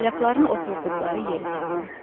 Polyakların oturduqları yeri tapdım.